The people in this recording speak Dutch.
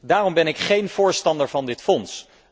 Daarom ben ik geen voorstander van dit fonds.